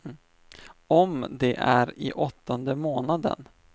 Om de är i åttonde månaden.